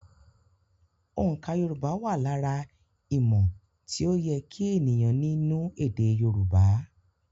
Oǹkà Yorùbá wà lára ìmò tí ó yẹ kí ènìyàn nínú èdè Yorùbá.